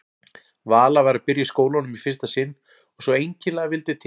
Vala var að byrja í skólanum í fyrsta sinn og svo einkennilega vildi til að